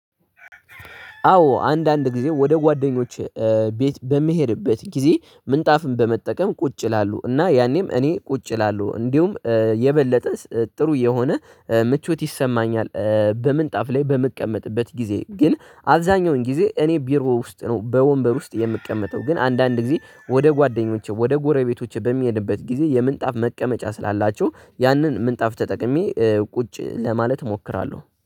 አዎ አንዳንድ ጊዜ ወደ ጓደኞች ቤት በምሄድበት ጊዜ ምንጣፍን በመጠቀም ቁጭ ይላሉ እና ያኔም እኔ ቁጭ እላለሁ። እንዲሁም የበለጠ ጥሩ የሆነ ምቾት ይሰማኛል በምንጣፍ ላይ በምቀመጥበት ጊዜ ግን አብዛኛውን ጊዜ እኔ ቢሮ ውስጥ ነው በወንበር ውስጥ የምቀመጠው። ግን አንዳንድ ጊዜ ወደ ጓደኞቼ ወደ ጎረቤቶቼ በሚሄድበት ጊዜ የምንጣፍ መቀመጫ ስላላቸው ያንን ምንጣፍ ተጠቅሜ ቁጭ ለማለት እሞክራለሁ